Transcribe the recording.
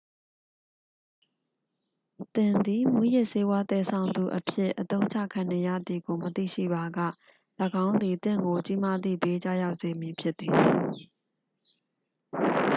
သင်သည် မူးယစ်ဆေးဝါးသယ်ဆောင်သူအဖြစ် အသုံးချခံနေရသည်ကို မသိရှိပါက ၎င်းသည် သင့်ကို ကြီးမားသည့်ဘေး ကျရောက်စေမည်ဖြစ်သည်